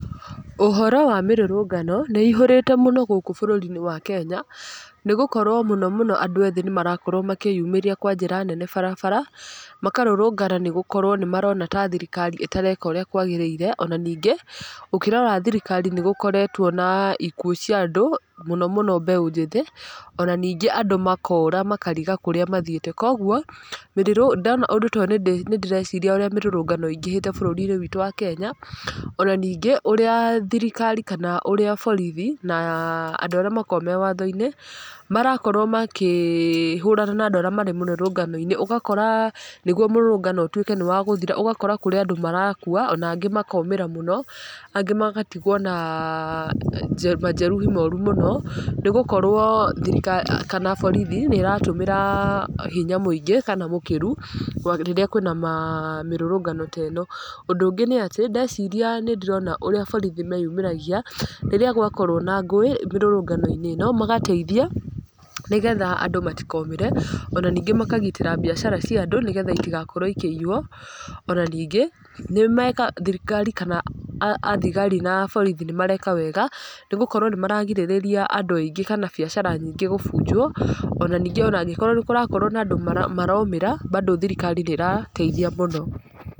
Ũhoro wa mĩrũrũngano nĩ ĩihũrĩte mũno gũkũ bũrũri-inĩ wa Kenya nĩgũkorwo mũno mũno andũ ethĩ nĩ marakorwo makĩyumĩria kwa njĩra nene barabara, makarũrũngana nĩgũkorwo nĩ marona ta thirikari ĩtareka ũrĩa kwagĩrĩire, ona ningĩ, ũkĩrora thirikari nĩ gũkoretwo na ikuũ cia andũ mũno mũno mbeũ njĩthĩ, ona ningĩ andũ makora makariga kũrĩa mathiĩte, koguo ndona ũndũ toyũ nĩndĩreciria ũrĩa mĩrũrũngano ĩingĩhĩte bũrũri-inĩ witũ wa Kenya, ona ningĩ ũrĩa thirikari kana ũrĩa borithi na andũ arĩa makoragwo me watho-inĩ, marakorwo makĩhũrana na andũ arĩa marĩ mũrũrũngano-inĩ, ũgakora nĩguo mũrũrũngano ũtuĩke nĩ wa gũthira, ũgakora kũrĩ andũ marakua na angĩ makomĩra mũno, angĩ magatigwo na majeruhi moru mũno, nĩgukorwo thirikari kana borithi nĩ ĩratũmĩra hinya mũingĩ kana mũkĩru rĩrĩa kwĩna mĩrũrũngano teno, ũndũ ũngĩ nĩ atĩ, ndeciria ndĩrona ũrĩa borithi meyumĩragia, rĩrĩa gwakorwo na ngũĩ mĩrũrũngano-inĩ ĩno magateithia nĩgetha andũ matikomĩre, ona ningĩ makagitĩra mbiacara cia andũ, nĩgetha itigakorwo ikĩiywo, ona ningĩ nĩ mekaga thirikari kana athigari na aborithi nĩ mareka wega nĩgũkorwo nĩmaragirĩrĩria andũ aingĩ kana biacara gũbunjwo, ona ningĩ ona angĩkorwo nĩ kũrakorwo na andũ maromĩra bado thirikari nĩ ĩrateithia mũno.